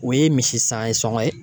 O ye misi san ye sɔngɔ ye?